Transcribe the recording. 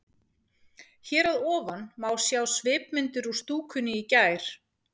Hér að ofan má sjá svipmyndir úr stúkunni í gær.